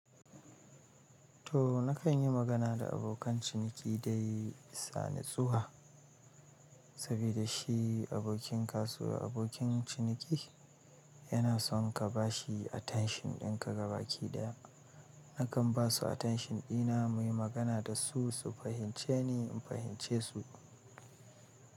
To nakan yi magana da abokan ciniki dai sani tsuwa, saboda shi abokin kasuwa, abokin ciniki yana son ka ba shi attention ɗin ka gaba ɗaya. Nakan basu attention ɗina, muyi magana dasu, su fahimce ni, in fahimce su.